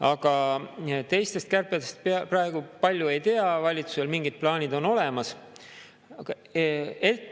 Aga teistest kärbetest praegu palju ei tea, valitsusel mingid plaanid on olemas.